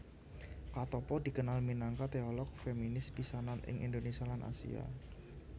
Katoppo dikenal minangka teolog feminis pisanan ing Indonesia lan Asia